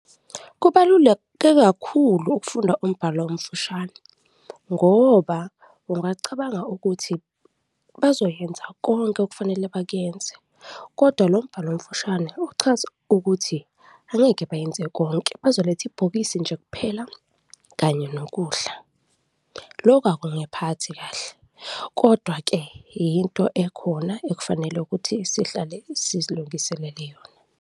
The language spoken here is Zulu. Kubaluleke kakhulu ukufunda umbhalo omfushane ngoba ungacabanga ukuthi bazoyenza konke okufanele bakuyenze kodwa lombhalo omfushane uchaza ukuthi angeke bayenze konke, bazoletha ibhokisi nje kuphela kanye nokudla. Loku akungiphathi kahle kodwa-ke yinto ekhona ekufanele ukuthi sihlale sizilungiselele yona.